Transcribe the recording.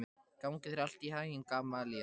Gangi þér allt í haginn, Gamalíel.